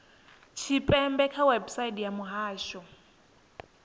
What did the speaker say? tshipembe kha website ya muhasho